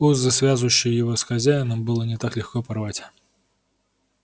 узы связывающие его с хозяином было не так легко порвать